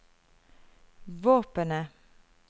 våpenet